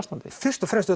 fyrst og fremst